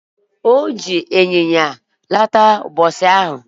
Oji nyanya laata ubosi ahu